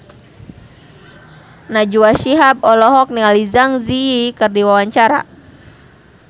Najwa Shihab olohok ningali Zang Zi Yi keur diwawancara